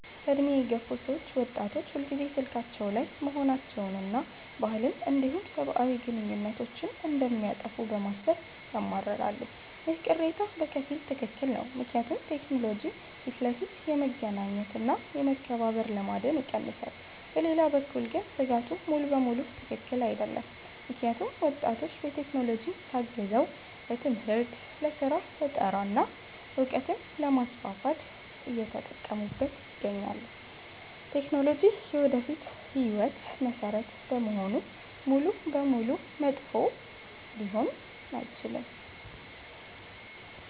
በዕድሜ የገፉ ሰዎች ወጣቶች ሁልጊዜ ስልካቸው ላይ መሆናቸውንና ባህልን እንዲሁም ሰብአዊ ግንኙነትን እንደሚያጠፋ በማሰብ ያማርራሉ። ይህ ቅሬታ በከፊል ትክክል ነው፤ ምክንያቱም ቴክኖሎጂ ፊት ለፊት የመገናኘት እና የመከባበር ልማድን ይቀንሳል። በሌላ በኩል ግን ስጋቱ ሙሉ በሙሉ ትክክል አይደለም፤ ምክንያቱም ወጣቶች በቴክኖሎጂ ታግዘው ለትምህርት፣ ለስራ ፈጠራ እና እውቀትን ለማስፋፋት እየተጠቀሙበት ይገኛሉ። ቴክኖሎጂ የወደፊት ህይወት መሰረት በመሆኑ ሙሉ በሙሉ መጥፎ ሊሆን አይችልም።